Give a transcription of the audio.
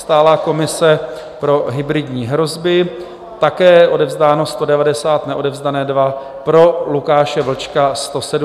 Stálá komise pro hybridní hrozby - také odevzdáno 190, neodevzdané 2. Pro Lukáše Vlčka 170, byl zvolen.